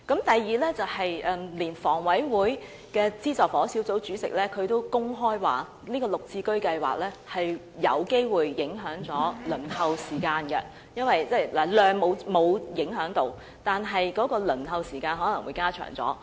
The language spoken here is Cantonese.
第二，連香港房屋委員會的資助房屋小組委員會主席也公開表示，"綠置居"會有機會影響輪候公屋的時間，即在數量方面沒有影響，但輪候時間卻可能會加長。